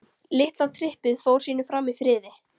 Litla trippið fór sínu fram í friði.